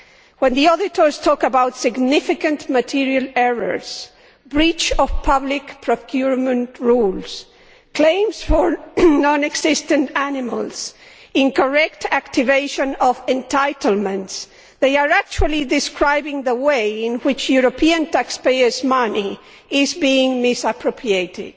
When the auditors talk about significant material errors, breach of public procurement rules, claims for non existent animals and incorrect activation of entitlements, they are actually describing the way in which European taxpayers' money is being misappropriated.